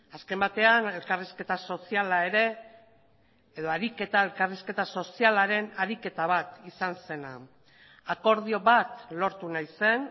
azken batean elkarrizketa soziala ere edo ariketa elkarrizketa sozialaren ariketa bat izan zena akordio bat lortu nahi zen